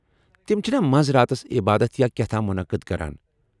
تِم چھِنا منٛز راتس عبادت یا کیاہ تام مٗنعقد کران ؟